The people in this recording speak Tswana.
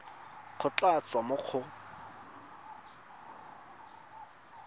go tla tswa mo go